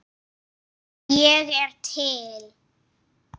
Ég er til